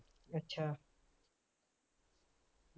ਅੱਛਾ